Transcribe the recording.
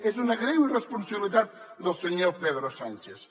és una greu irresponsabilitat del senyor pedro sánchez